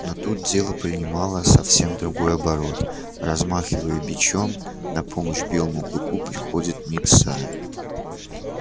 но тут дело принимало совсем другой оборот размахивая бичом на помощь белому клыку приходил митса